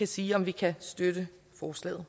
sige om vi kan støtte forslaget